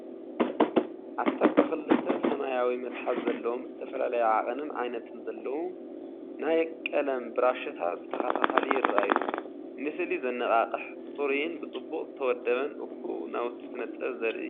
ዓሰርተ ክልተ (12) ሰማያዊ መትሓዚ ዘለዎም ዝተፈላለየ ዓቐንን ዓይነትን ዘለዎም ናይ ቀለም ብራሻታት ብተኸታታሊ ይርኣዩ። ንስእሊ ዘነቓቕሕ ጽሩይን ብጽቡቕ ዝተወደበን እኩብ ናውቲ ስነ-ጥበብ ዘርኢ እዩ።